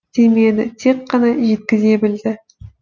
демеді тек қана жеткізе білді